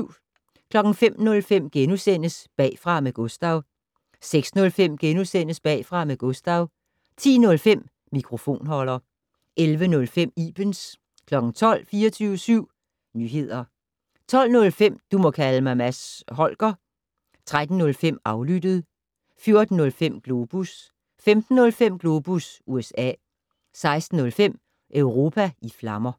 05:05: Bagfra med Gustav * 06:05: Bagfra med Gustav * 10:05: Mikrofonholder 11:05: Ibens 12:00: 24syv Nyehder 12:05: Du må kalde mig Mads Holger 13:05: Aflyttet 14:05: Globus 15:05: Globus USA 16:05: Europa i flammer